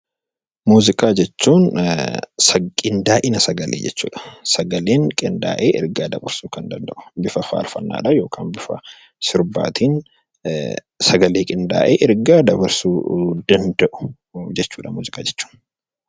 Muuziqaa jechuun qindaa'ina sagalee jechuudha. Sagaleen qindaa'ee ergaa dabarsuu kan danda'u bifa faarfannaa yookaan sirbaatiin sagalee qindaa'ee ergaa dabarsuu danda'u jechuudha